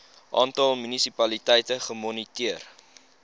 aantal munisipaliteite gemoniteer